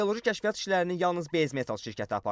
Geoloji kəşfiyyat işlərini yalnız Base Metal şirkəti aparırdı.